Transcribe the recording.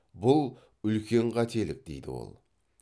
бұл үлкен қателік дейді ол